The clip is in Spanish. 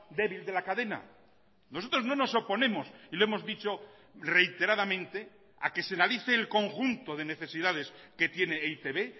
débil de la cadena nosotros no nos oponemos y lo hemos dicho reiteradamente a que se analice el conjunto de necesidades que tiene e i te be